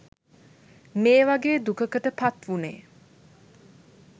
මේ වගේ් දුකකට පත්වුණේ.